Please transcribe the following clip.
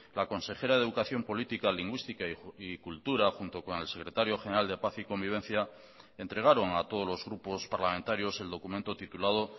la consejera de educación política lingüística y cultura junto con el secretario general de paz y convivencia entregaron a todos los grupos parlamentarios el documento titulado